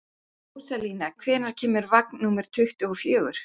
Rósalía, hvenær kemur vagn númer tuttugu og fjögur?